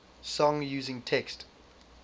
song using text